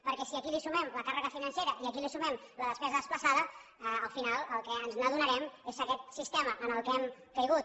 perquè si aquí sumem la càrrega financera i aquí sumem la despesa desplaçada al final del que ens adonarem és que aquest sistema en què hem caigut